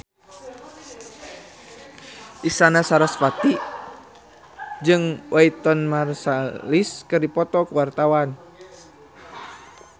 Isyana Sarasvati jeung Wynton Marsalis keur dipoto ku wartawan